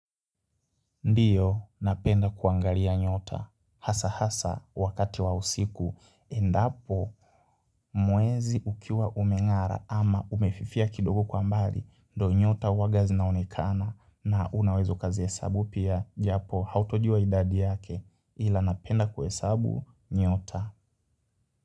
Ndio napenda kuangalia nyota hasa hasa wakati wa usiku endapo mwezi ukiwa umengara ama umefifia kidogo kwa mbali ndo nyota huawaga zinaonekana na unawezo kazihesabu pia japo hautojiwa idadi yake ila napenda kwa hesabu nyota.